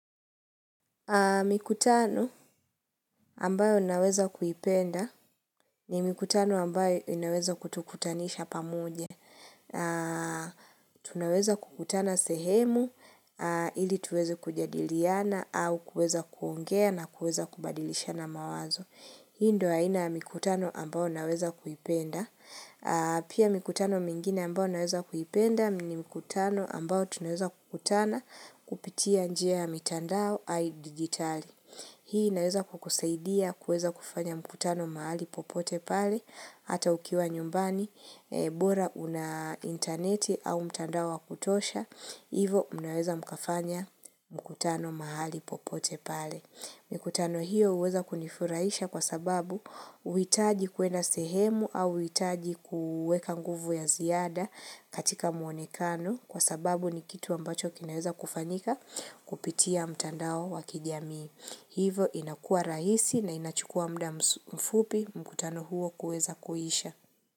Mikutano ambayo naweza kuipenda ni mikutano ambayo inaweza kutukutanisha pamoja. Tunaweza kukutana sehemu ili tuweze kujadiliana au kueza kuongea na kueza kubadilishana mawazo. Hii ndo haina mikutano ambayo naweza kuipenda. Pia mikutano mingine ambayo naweza kuipenda ni mikutano ambayo tunaweza kukutana kupitia njia mitandao hayi digitali. Hii naweza kukusaidia kuweza kufanya mkutano mahali popote pale, hata ukiwa nyumbani, bora una interneti au mtandawo kutosha, hivo unaweza mkafanya mkutano mahali popote pale. Mikutano hiyo uweza kunifuraisha kwa sababu uitaji kuenda sehemu au uitaji kuweka nguvu ya ziada katika muonekano kwa sababu ni kitu ambacho kinaweza kufanyika kupitia mtandawo wa kijami. Hivo inakua raisi na inachukua mda mfupi mkutano huo kueza kuhisha.